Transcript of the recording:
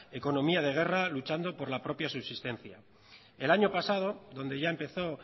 economía de guerra luchando por la propia subsistencia el año pasado donde ya empezó